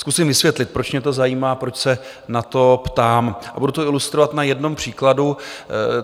Zkusím vysvětlit, proč mě to zajímá, proč se na to ptám, a budu to ilustrovat na jednom příkladu.